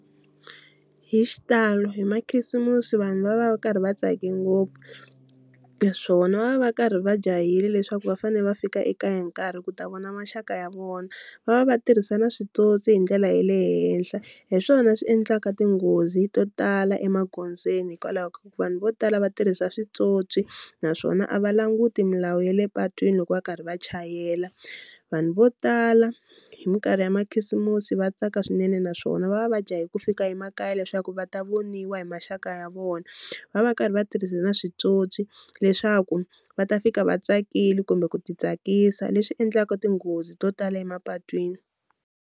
Hi xitalo hi makhisimusi vanhu va va va karhi va tsake ngopfu naswona va va va karhi va jahile leswaku va fanele va fika ekaya hi nkarhi ku ta vona maxaka ya vona, va va va tirhisa na switswotswi hi ndlela ya le henhla hi swona swi endlaka tinghozi to tala emagondzweni hikwalaho ka ku vanhu vo tala va tirhisa switsotswi naswona a va languti milawu ya le patwini loko va karhi va chayela, vanhu vo tala hi minkarhi ya makhisimusi va tsaka swinene naswona va va va jahe ku fika emakaya leswaku va ta voniwa hi maxaka ya vona, va va va karhi va tirhisa na switsotswi leswaku va ta fika va tsakile kumbe ku ti tsakisa leswi endlaka tinghozi to tala emapatwini.